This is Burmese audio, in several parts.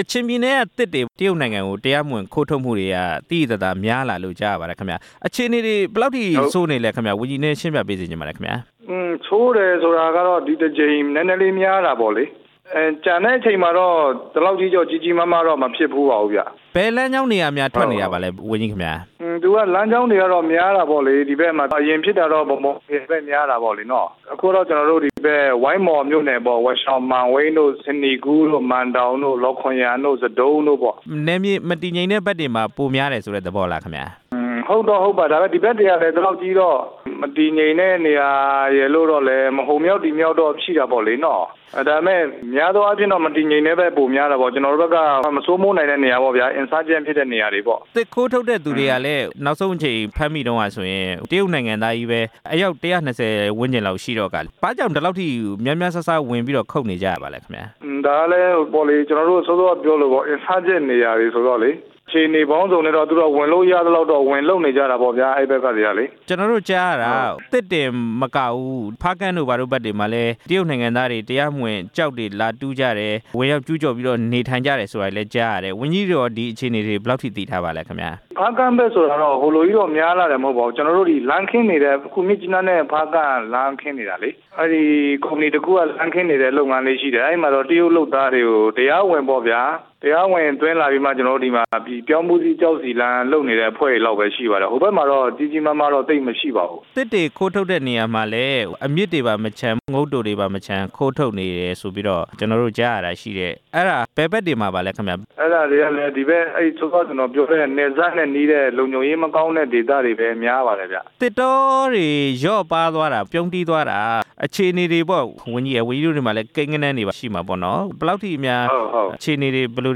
ကချင်ပြည်နယ်ကသစ်တွေ တရုတ်နိုင်ငံကို တရားမဝင် ခိုးထုတ်မှုတွေက သိသိ သာသာများလာတယ်လို့ ကြားရပါတယ်ခင်ဗျ၊ အခြေအနေတွေ ဘယ်လောက်အထိဆိုးနေလဲခင်ဗျ၊ ဝန်ကြီး နည်းနည်းရှင်းပြပေးစေချင်ပါတယ်ခင်ဗျာ။ ဆိုးတယ်ဆိုတာကတော့ ဒီတစ်ကြိမ်နည်းနည်းလေး များတာပေါ့လေ၊ ကျန်တဲ့အချိန် မှာတော့ ဒီလောက်အထိတော့ ကြီးကြီးမားမားတော့ မဖြစ်ဖူးပါဘူးဗျ။ ဘယ်လမ်းကြောင်းတွေကများ ထွက်နေတာပါလဲ ဝန်ကြီးခင်ဗျာ။ သူကလမ်းကြောင်းတွေကတော့ များတာပေါ့လေ၊ ဒီဘက်မှာဖြစ်တာကတော့ ဗန်းမော် ခရိုင်ဘက်မှာတော့ များတာပေါ့လေ၊ အခုတော့ ကျနော်တို့ဒီဘက် ဝိုင်းမော်မြို့နယ်ပေါ့၊ ဝါးရှောင်မန်ဝိတ်၊ စနေကူးတို့၊ မန်တောင်တို့၊ လောခွန်ယန်တို့ ဇဒုံးတို့ပေါ့။ နယ်မြေမတည်ငြိမ်တဲ့ဘက်တွေမှာ ပိုများတယ်ဆိုတဲ့ သဘောလားခင်ဗျ။ ဟုတ်တော့ဟုတ်ပါတယ်၊ ဒါပေမယ့် ဒီဘက်တွေကလည်း ဒီလောက်ကြီးတော့ မတည်ငြိမ်တဲ့နေရာတွေလို့တော့ မဟုတ်ဘူး၊ အနည်းအကျဉ်းတော့ ရှိတာပေါ့လေနော့၊ ဒါပေမယ့် များသောအားဖြင့်တော့ မတည်ငြိမ်တဲ့ဘက် ပိုများတာပေါ့၊ ကျနော်တို့ဘက်က မစိုးမိုးနိုင်တဲ့နေရာပေါ့ဗျာ။ သစ်ခိုးထုတ်တဲ့သူတွေကလည်း နောက်ဆုံးအကြိမ်ဖမ်းမိတုန်းကဆိုရင် တရုတ်နိုင်ငံသားချည်းပဲ အယောက် ၁၂ဝ လောက်ရှိတော့ကာ ဘာ့ကြောင့်ဒီလောက်ထိ များများစားစား ဝင်ပြီးတော့ခုတ်နေကြရတာပါလဲ ခင်ဗျာ။ ဒါကလည်း ကျနော်တို့ စောစောကပြောသလိုပေါ့၊ ကျနော်တို့ဘက်က မစိုးမိုးနိုင်တဲ့နေရာဆိုတော့လေ အခြေအနေပေါင်းစုံနဲပတော့ သူတို့ကဝင်လို့ရသလောက်တော့ ဝင်လုပ်နေကြတာပေါ့ဗျ၊ အဲ့ဘက်ကတွေကလေ။ ကျနော်တို့ကြားရတာ သစ်တင်မကဘူး၊ ဖားကန့်တို့ဘာတို့ ဘက်တွေမှာလည်း တရုတ်နိုင်ငံသားတွေ တရားမဝင်ကျောက်တွေလာတူးကြတယ်၊ ဝင်ရောက်ကျူးကျော်ပြီးတော့ နေထိုင်ကြတယ် ဆိုတာလည်း ကြားရတယ်၊ ဝန်ကြီးတို့ရော ဒီအခြေအနေတွေ ဘယ်လောက်ထိ သိထားပါသလဲခင်ဗျာ။ ဖားကန့်ဘက်ဆိုတာက ဟိုလိုကြီးတော့များလာတာ မဟုတ်ပါဘူး၊ ကျနော်တို့တွေ လမ်းခင်းနေတယ်၊ အခုမြစ်ကြီးနားနဲ့ ဖားကန့် လမ်းခင်းနေတာလေ၊ အဲ့ဒီကုမ္ပဏီတစ်ခုက လမ်းခင်းနေတယ်လို့ လုပ်ငန်းလေးရှိတယ်၊ အဲ့မှာတရုတ်လုပ်သားတွေကို တရားဝင်ပေါ့ဗျာ တရားဝင်သွင်းလာပြီးမှ ကျနော်တို့ဒီမှာ အလုပ်လုပ်နေတဲ့အဖွဲ့တွေလောက်ပဲရှိတယ်၊ ဟိုဘက်မှာတော့ သိပ်ကြီးကြီးမားမားမရှိပါဘူး။ သစ်တွေခိုးထုတ်တဲ့နေရာမှာလည်း အမြစ်တွေပါမချန်၊ ငုတ်တိုတွေပါမချန် ခိုးထုတ်နေတယ်ဆိုပြီးတော့ ကျနော်တို့ကြားရတာရှိတယ်၊ အဲ့ဒါဘယ်ဘက်တွေမှာပါလည်းခင်ဗျ။ အဲ့ဒါတွေကလည်း ခုနက ကျနော်ပြောခဲ့တဲ့ နယ်စပ်နဲ့နီးတဲ့လုံခြုံရေးမကောင်း တဲ့ ဒေသတွေပဲများပါတယ်ဗျ။ သစ်တောတွေ လျော့ပါးသွားတာ ပြုန်းတီးသွားတာ အခြေအနေတွေပေါ့ ဝန်ကြီးရယ်၊ ဝန်ကြီးတို့ဆီမှာလည်း ကိန်းဂဏန်းတွေရှိမှာပေါ့နော်၊ ဘယ်လောက်ထိများ အခြေအနေတွေ ဘယ်လို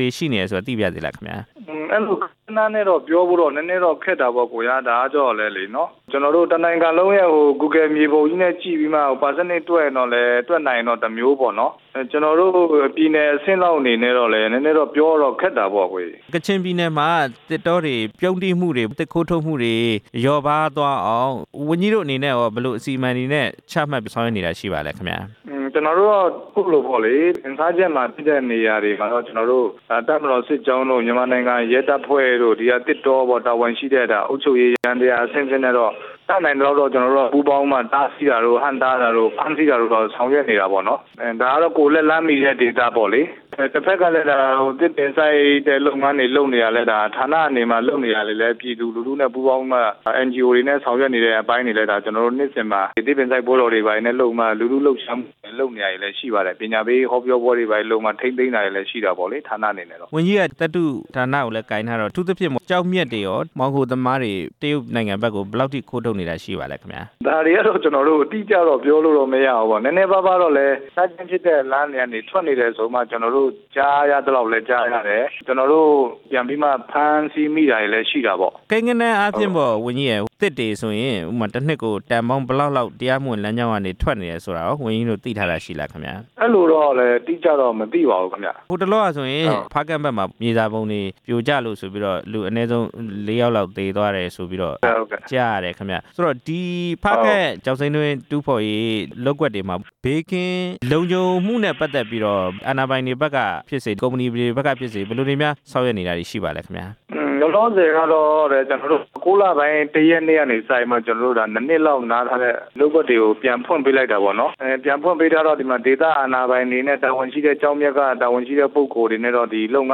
တွေရှိနေတယ်ဆိုတာ သိပါရစေခင်ဗျာ။ အဲ့လိုကိန်းဂဏန်းနဲ့ပြောဖို့တော့ နည်းနည်းတော့ခက်တာပေါ့ အစ်ကိုရာ၊ ဒါကကျတော့လည်းလေပေါ့နော်၊ ကျနော်တို့ တစ်နိုငံလုံးရဲ့ဂူဂဲလ်မြေပုံနဲ့ကြည့်ပြီးမှ ရာခိုင်နှုန်းတွက်ရင်လည်း တွက်လာနိုင်ရင်တော့လည်း တစ်မျိုးပေါ့နော်၊ ကျနော်တို့ ပြည်နယ်အဆင့်လောက်အနေနဲ့တော့လည်း ပြောရ ခက်တာပေါ့ အစ်ကိုရေ။ ကချင်ပြည်နယ်မှာ သစ်တောတွေပြုန်းတီးမှုတွေ၊ သစ်ခိုးထုတ်မှုတွေ လျော့ ပါးအောင် ဝန်ကြီးတို့အနေနဲ့ကော ဘယ်လိုအစီအမံတွေနဲ့ ချမှတ်ဆောင်ရွက်နေတာ ရှိပါလဲခင်ဗျ။ ကျနော်တို့က အခုလို မစိုးမိုးနိုင်တဲ့နေရာမှာဖြစ်နေတာတွေကတော့ ကျနော်တို့ တပ်မတော်စစ်ကြောင်းတို့ မြန်မာနိုင်ငံရဲတပ်ဖွဲ့တို့ ဒီကသစ်တောပေါ့၊ တာဝန်ရှိတဲ့ ဒါအုပ်ချုပ်ရေးယန္တရား အဆင့်ဆင့်နဲ့တော့ တက်နိုင်သလောက်တော့ ကျနော်တို့ ပူးပေါင်းမှ၊ တားဆီးတာတို့ ဟန့်တားတာတို့ ဖမ်းဆီးတာတို့ ဆောင်ရွက်နေတာပေါ့နော်၊ ဒါကတော့ ကိုယ်လက်လှမ်းမီတဲ့ ဒေသပေါ့လေ၊ တစ်ဘက်ကလည်း သစ်ပင်စိုက်တဲ့လုပ်ငန်းတွေ လုပ်နေတာလည်း ဒါဌါနအနေမှာလုပ်နေတာတွေလည်း ပြည်သူလူထုနဲ့ပူးပေါင်းပြီးမှ အန်န်ဂျီအိုတွေနဲ့ဆောင်ရွက်နေတဲ့ အကိုင်းတွေလည်း ကျနော်တို့နှစ်စဉ်မှာ ကျနော်တို့ သစ်ပင်စိုက်ပွဲတော်တွေ လည်း လုပ်မှာ၊ လူထုလှုပ်ရှားမှုလုပ်နေတာတွေလည်း ရှိပါတယ်၊ ပညာပေး ဟောပြောပွဲတွေဘာတွေလုပ်မှာ ထိန်းသိမ်းတာတွေလည်းရှိတာပေါ့လေ ဌါနအနေနဲ့။ ဝန်ကြီးရဲ့ သတ္ထုဌါနကိုလည်းကိုင်ထားတော့ အထူးသဖြင့်ပေါ့၊ ကျောက် မျက်တွေရော မှောင်ခိုသမားတွေ တရုတ်နိုင်ငံဘက်ကို ဘယ်လောက်အထိခိုးထုတ်နိုင်တာ ရှိနေပါသလဲခင်ဗျာ။ ဒါတွေကတော့ ကျနော်တို့ အတိအကျတော့ပြောလို့မရဘူးပေါ့၊ နည်းနည်းပါးပါးတော့ လည်း မထွက်သင့်တဲ့လမ်းတွေက ထွက်နေတယ်ဆိုတာ ကျနော်တို့ ကြားရသလောက်လည်း ကြားရတယ်၊ ကျနော်တို့ ပြန်ပြီးမှဖမ်းဆီးနေတာတွေလည်းရှိတာပေါ့။ ကိန်းဂဏန်းအားဖြင့်ပေါ့ ဝန်ကြီးရယ် သစ်တွေဆိုရင် တစ်နှစ်ကိုတန်ပေါင်း ဘယ်လောက်လောက် တရားမဝင်လမ်းကြောင်းကနေ ထွက်နေတယ်ဆိုတာကို ဝန်ကြီးတို့ သိထားတာ ရှိလားခင်ဗျ။ အဲ့လိုတော့လည်း အတိအကျတော့ မသိပါဘူးခင်ဗျ။ ဟိုတလောကဆိုရင် ဖားကန့်ဘက်မှာ မြေစာပုံတွေပြိုကျလို့ဆိုပြီး အနည်းဆုံး ၄ ယောက်လောက်သေသွားတယ်ဆိုပြီးတော့ ကြားရတယ်ခင်ဗျ၊ ဆိုတော့ ဒီဖားကန့်ကျောက်စိမ်းတွင်း တူးဖော်ရေးလုပ်ကွက်တွေမှာ ဘေးကင်းလုံခြုံမှုနဲ့ ပတ်သက်ပြီးတော့ အာဏာပိုင်တွေဘက်ကဖြစ်စေ၊ ကုမ္ပဏီတွေ ဘက်ကဖြစ်စေ ဘယ်လိုတွေများဆောင်ရွက်နေတာတွေ ရှိနေပါသလဲခင်ဗျာ။ လောလောဆယ်ကတော့ ကျနော်တို့ ၉ လပိုင်း ၁ ရက်နေ့ကနေစပြီးမှ ကျနော်တို့ ၂ နှစ်လောက်နားထားတဲ့ လုပ်ကွက်တွေကို ပြန်ဖွင့်ပေးလိုက်တာပေါ့နော်၊ ပြန်ဖွင့်ပေးထားတော့ ဒီမှာဒေသ အာဏာပိုင်တွေနဲ့ တာဝန်ရှိတဲ့ကျောက်မျက်က ပုဂ္ဂိုလ်တွေနဲ့တော့ လုပ်ကွက်လုပ်င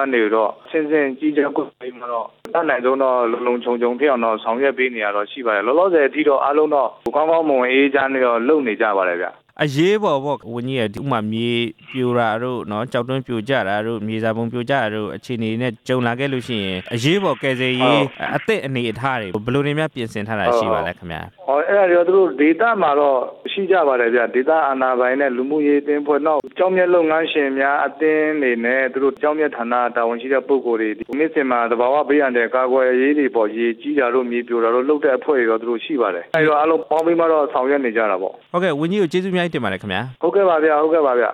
န်းတွေကိုတော့ အဆင့်ဆင့် ကြီးကြပ်ကွပ်ကဲပြီးတော့ အတက်နိုင်ဆုံးတော့ လုံလုံခြုံခြုံဖြစ်အောင်တော့ ဆောင်ရွက်ပေးနေတာတော့ ရှိပါတယ်၊ လောလောဆယ်အထိတော့ အားလုံးတော့ကောင်းကောင်းမွန်မွန် အေးအေးချမ်းချမ်းတော့ လုပ်နေကြပါတယ်ဗျ။ အရေးပေါ်ပေါ့ ဝန်ကြီးရယ် ဥပမာ မြေပြိုတာတို့၊ ကျောက်တွင်းပြိုကျတာတို့ ၊ မြေစာပုံပြိုကျတာတို့ အခြေအနေတွေနဲ့ကြုံလာခဲ့လို့ရှိရင် အရေးပေါ်ကယ်ဆယ်ရေး အသင့်အနေအထားတွေ ဘယ်လိုတွေများပြင်ဆင်ထားတာ ရှိပါသလဲခင်ဗျ။ အဲ့ဒါတွေတော့ ဒေသမှာတော့ရှိကြပါတယ်ဗျ၊ ဒေသအာဏာပိုင်နဲ့ လူမှုရေးအသင်း အဖွဲ့ နောက်ကျောက်မျက်လုပ်ငန်းရှင်များအသင်းတွေနဲ့ သူတို့ကျောက်မျက်ဌါနက တာဝန်ရှိတဲ့ပုဂ္ဂိုလ်တွေ နှစ်စဉ်မှာ သဘာဝဘေးအန္တရာယ်တွေ ကာကွယ်ရေးတွေပေါ့၊ ရေကြီးတာတို့ မြေပြိုတာတို့ လုပ်တဲ့အဖွဲ့တွေတော့ သူတို့ရှိ ပါတယ်၊ အဲဒီတော့ အားလုံးပေါင်းပြီးမှတော့ ဆောင်ရွက်နေကြတာပေါ့။ ဟုတ်ကဲ့ ဝန်ကြီးကို ကျေးဇူးအများကြီးတင်ပါတယ်ခင်ဗျာ။ ဟုတ်ကဲ့ပါဗျာ၊ ဟုတ်ကဲ့ပါဗျ။